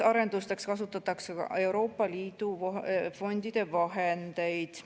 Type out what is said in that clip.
Arendusteks kasutatakse Euroopa Liidu fondide vahendeid.